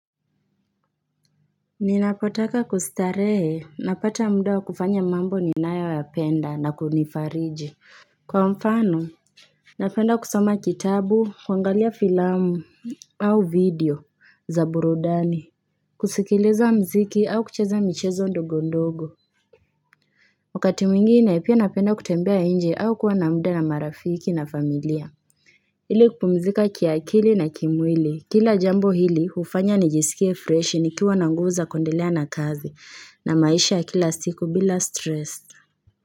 Ninapotaka kustarehe, napata muda wa kufanya mambo ni nayo ya penda na kunifariji Kwa mfano, napenda kusoma kitabu, kuangalia filamu, au video za burudani kusikiliza mziki au kucheza michezo ndogo ndogo wakati mwingine, pia napenda kutembea nje au kuwa na muda na marafiki na familia ili kupumzika kiakili na kimwili. Kila jambo hili hufanya nijisikie freshi nikiwa na nguvu za kuendelea na kazi na maisha ya kila siku bila stress.